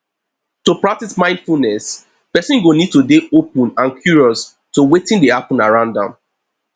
to practice mindfulness person go need to dey open and curious to wetin dey happen around am